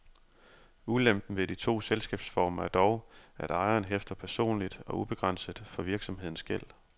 Ulempen ved de to selskabsformer er dog, at ejeren hæfter personligt og ubegrænset for virksomhedens gæld.